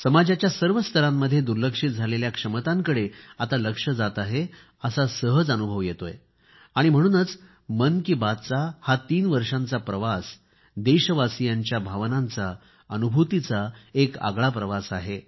समाजाच्या सर्व स्तरामध्ये दुर्लक्षित झालेल्या क्षमतेकडे आता लक्ष जात आहे असा सहज अनुभव येत आहे आणि म्हणून मन की बातचा हा तीन वर्षांचा प्रवास देशवासियांच्या भावनांचा अनुभूतीचा एक आगळा प्रवास आहे